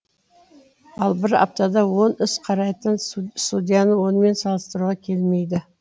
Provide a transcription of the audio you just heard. ал бір аптада он іс қарайтын судьяны онымен салыстыруға келмейді